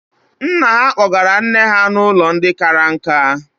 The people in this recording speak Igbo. Nna ha kpọgara nne nna ha n'ụlọ ndị kara nka.